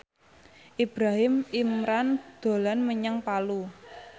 Ibrahim Imran dolan menyang Palu